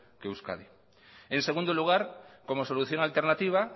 que euskadi en segundo lugar como solución alternativa